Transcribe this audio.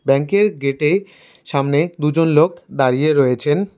Bank -এর গেটে সামনে দুজন লোক দাঁড়িয়ে রয়েছেন।